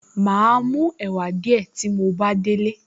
Màá mú ẹ̀wà díẹ̀ tí mo bá délé